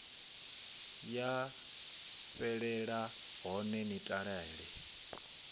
ya fhelela hone ni talele